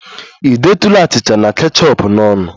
Ị detụla achịcha na kechọp n'ọnụ?